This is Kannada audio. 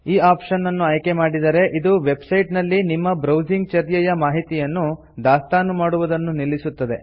ಈ ಆಪ್ಷನ್ ಅನ್ನು ಆಯ್ಕೆ ಮಾಡಿದರೆ ಇದು ವೆಬ್ ಸೈಟ್ ನಲ್ಲಿ ನಿಮ್ಮ ಬ್ರೌಸಿಂಗ್ ಚರ್ಯೆಯ ಮಾಹಿತಿಯನ್ನು ದಾಸ್ತಾನು ಮಾಡುವುದನ್ನು ನಿಲ್ಲಿಸುತ್ತದೆ